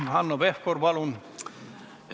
Hanno Pevkur, palun!